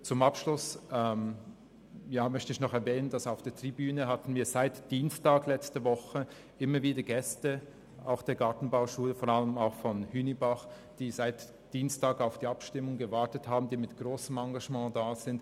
Zum Abschluss möchte ich noch erwähnen, dass wir seit Dienstag auf der Tribüne immer wieder Gäste von der Gartenbauschule Hünibach haben, die auf die Abstimmung warten und mit grossem Engagement dabei sind.